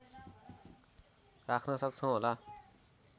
राख्न सक्छौँ होला